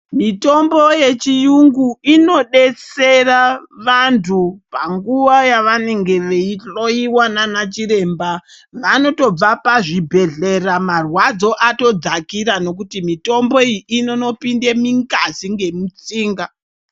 Mitombo yechirungu inodetsera vantu panguwa yavanenge veihloiwa nana chiremba vanotobva pazvibhedhlera marwadzo ato dzakira nekuti mitombo iyi inondopinda mungazi nemutsinga.